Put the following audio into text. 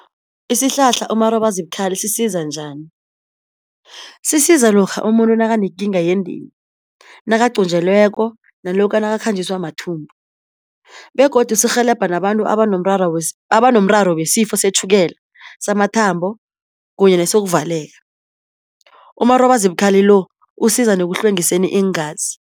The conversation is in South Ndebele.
Isihlahla umarobazibukhali sisiza njani? Sisiza lokha umuntu nakanekinga yendeni, nakaqunjelweko nalokha nakakhanjiswa mathumbu, begodu sirhelebha nabantu abanomrara abanomraro wesifo setjhukela, samathambo kunye nesokuvaleka. Umarobazibukhali lo usiza nekuhlwengiseni iingazi.